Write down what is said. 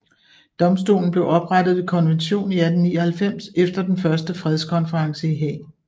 Domstolen blev oprettet ved konvention i 1899 efter den første fredskonferense i Haag